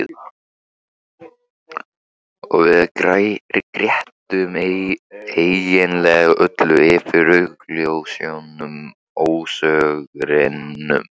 Og við grétum eiginlega öll yfir augljósum ósigrinum.